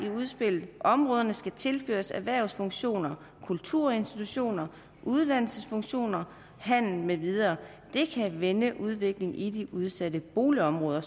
i udspillet områderne skal tilføres erhvervsfunktioner kulturinstitutioner uddannelsesfunktioner handel med videre det kan vende udviklingen i de udsatte boligområder